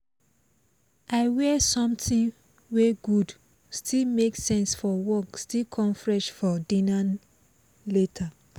i wear something wey go still make sense fo work still come fresh for dinner later